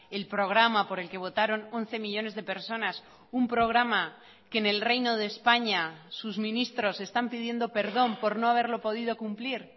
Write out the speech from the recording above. el programa por el que votaron once millónes de personas un programa que en el reino de españa sus ministros están pidiendo perdón por no haberlo podido cumplir